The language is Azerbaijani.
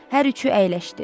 Hər üçü əyləşdi.